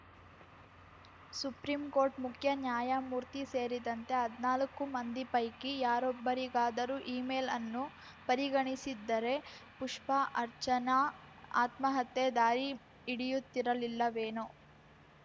supreme court ಮುಖ್ಯ ನ್ಯಾಯಮೂರ್ತಿ ಸೇರಿದಂತೆ ಹದ್ನಾಲ್ಕು ಮಂದಿ ಪೈಕಿ ಯಾರೊಬ್ಬರಿಗಾದರೂ ಇಮೇಲ್‌ಅನ್ನು ಪರಿ ಗಣಿಸಿದ್ದರೆ ಪುಷ್ಪಾ ಅರ್ಚನಾ ಆತ್ಮಹತ್ಯೆ ದಾರಿ ಹಿಡಿಯುತ್ತಿರಲಿಲ್ಲವೇನೋ